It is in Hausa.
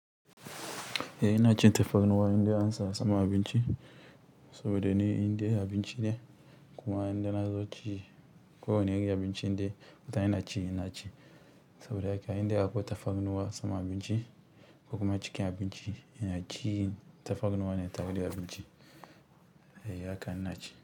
Eh ina cin tafarnuwa in dai ansa saman abinci saboda ni indai abinci ne kuma indai nazo ci ko wane irin abinci in dai mutane naci inaci saboda haka indai akwai tafarnuwa sama abinci ko kuma cikin abinci ina ci tafarnuwa ne tare da abinci eh haka ina ci.